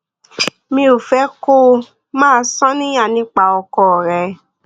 mi ò fẹ kó o máa ṣàníyàn nípa ọkọ rẹ